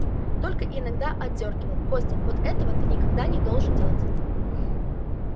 только иногда одёргивал костя вот этого ты никогда не должен делать